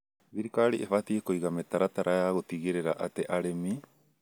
Thirikari ĩbatie kũiga mĩtaratara ya gũtigĩrĩra atĩ arĩmi